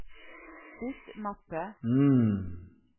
bytt mappe